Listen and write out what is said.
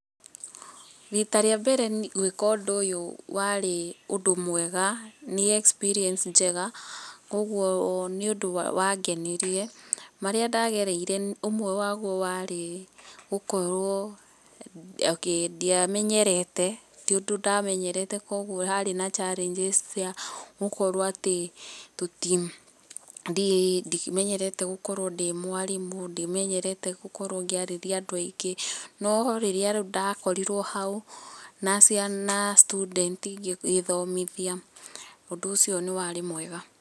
Rita rĩa mbere gwĩka ũndũ ũyũ wari ũndũ mwega, nĩ experience njega, koguo nĩ ũndũ wangenĩrie. Marĩa ndagereire ũmwe waguo warĩ gukorwo ndiamenyerete, tĩ ũndũ ndamenyerete koguo harĩ na challenges cia gukorwo atĩ ndimenyerete gukorwo ndĩ mwarimũ, ndimenyerete gũkorwo ngĩarĩria andũ aingĩ no rĩrĩa rĩu ndakorirwo hau na student ngĩthomithia ũndũ ũcio nĩ warĩ mwega.